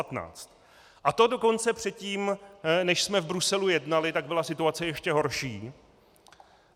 A to dokonce předtím, než jsme v Bruselu jednali, tak byla situace ještě horší.